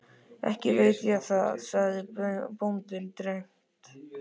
Ekki veit ég það, sagði bóndinn dræmt.